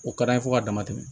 O ka d'an ye fo ka dama tɛmɛ